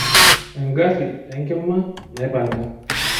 Engari enkima naipang'a.